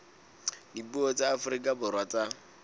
dipuo tsa afrika borwa tsa